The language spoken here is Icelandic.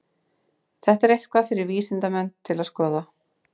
Þetta er eitthvað fyrir vísindamenn til að skoða.